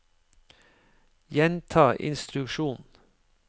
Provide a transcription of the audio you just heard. gjenta instruksjon